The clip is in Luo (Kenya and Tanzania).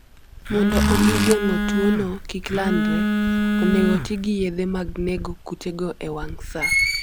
Mondo omi geng'o tuwono kik landre, onego oti gi yedhe mag nego kutego e wang' sa.